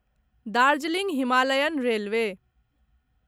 Darjeeling Himalayan railway